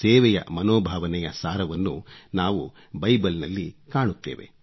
ಸೇವೆಯ ಮನೋಭಾವನೆಯ ಸಾರವನ್ನು ನಾವು ಬೈಬಲ್ನಲ್ಲಿ ಕಾಣುತ್ತೇವೆ